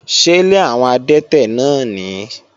Ṣélé àwọn adẹ́tẹ̀ náà nìí?